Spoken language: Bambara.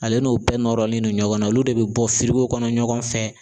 Ale n'o bɛɛ nɔrɔlen don ɲɔgɔn na, olu de be bɔ kɔnɔ ɲɔgɔn fɛ